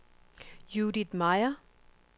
Judith Meyer